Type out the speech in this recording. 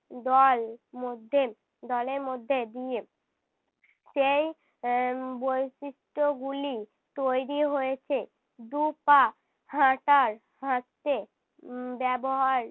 দল মধ্যে দলের মধ্যে দিয়ে সেই এর বৈশিষ্ট্যগুলি তৈরী হয়েছে। দু'পা হাঁটার হাঁটতে উম ব্যবহার